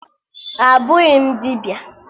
Abụghị m dibịa